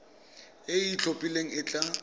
e e itlhophileng e tla